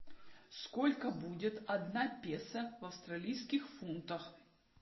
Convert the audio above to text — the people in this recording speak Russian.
сколько будет одна песо в австралийских фунтах